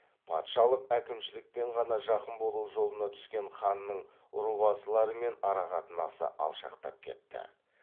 патшалық әкімшілікпен ғана жақын болу жолына түскен ханның рубасылармен арақатынасы алшақтап кетті